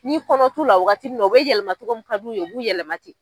N'i kɔnɔ t'u la waagati min na u bɛ yɛlɛma togo mun ka d'u ye, u b'u yɛlɛmaten.